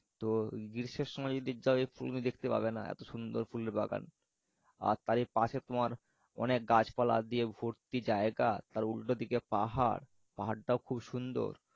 তো গ্রীষ্মের সময় যদি যাও তুমি দেখতে পাবেনা। এত সুন্দর ফুলের বাগান। আর তারই পাশে তোমার অনেক গাছপালা দিয়ে ভর্তি জায়গা তার উল্টোদিকে পাহাড় পাহাড়টাও খুব সুন্দর।